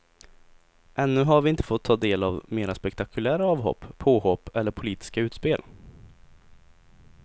Ännu har vi inte fått ta del av mera spektakulära avhopp, påhopp eller politiska utspel.